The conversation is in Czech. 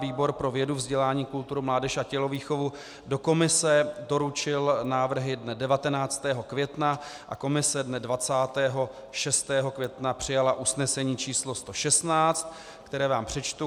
Výbor pro vědu, vzdělání, kulturu, mládež a tělovýchovu do komise doručil návrhy dne 19. května a komise dne 26. května přijala usnesení číslo 116, které vám přečtu.